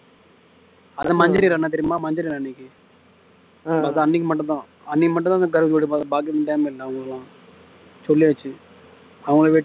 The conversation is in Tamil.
அந்த தெரியுமா அன்னைக்கு மட்டும்தா அன்னைக்கு மட்டும்தா அந்த கடவுளோட அவங்களுக்கெல்லாம் சொல்லியாச்சு